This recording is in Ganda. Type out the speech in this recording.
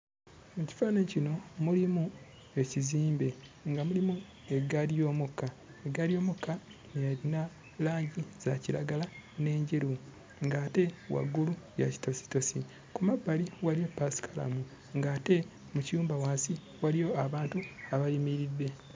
Mu kifaananyi kino mulimu ekizimbe nga mulimu eggaali y'omukka. Eggaali y'omukka erina langi za kiragala n'enjeru ng'ate waggulu ya kitositosi. Ku mabbali waliyo ppaasikalamu ng'ate mu kiyumba wansi waliyo abantu abayimiridde.